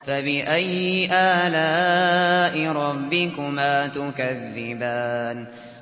فَبِأَيِّ آلَاءِ رَبِّكُمَا تُكَذِّبَانِ